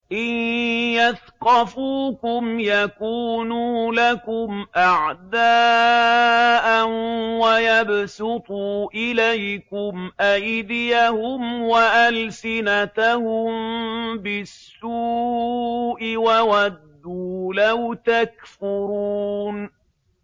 إِن يَثْقَفُوكُمْ يَكُونُوا لَكُمْ أَعْدَاءً وَيَبْسُطُوا إِلَيْكُمْ أَيْدِيَهُمْ وَأَلْسِنَتَهُم بِالسُّوءِ وَوَدُّوا لَوْ تَكْفُرُونَ